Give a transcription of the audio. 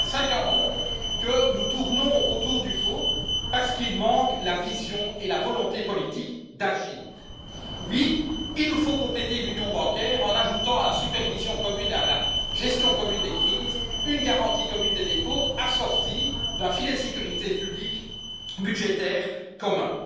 2015. Cela fait donc cinq ans que nous tournons autour du pot, parce qu'il manque la vision et la volonté politique d'agir. Oui, il nous faut compléter l'union bancaire en ajoutant à la supervision commune et à la gestion commune des crises une garantie commune des dépôts assortie d'un filet de sécurité public budgétaire commun.